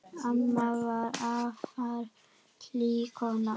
Amma var afar hlý kona.